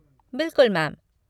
बिल्कुल मैम।